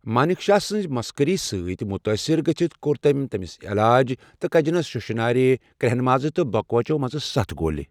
مانِک شاہ سٕنٛزِ مسخٔری سۭتۍ مُتٲثِر گٔژِھتھ کوٚر تٔمۍ تٔمِس علاج، تہٕ کجنَس شُشہٕ نارِ، کرٛیٚہن مازٕ تہٕ بوکوَچو منٛزٕ سَتھ گولہِ۔